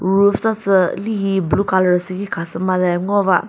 roof sa sü lihi blue colour sibi khasü made ngova.